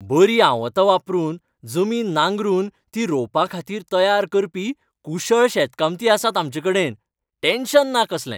बरीं आवतां वापरून जमीन नांगरून ती रोंवपाखातीर तयार करपी कुशळ शेताकामती आसात आमचेकडेन. टॅन्शन ना कसलें.